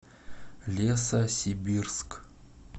лесосибирск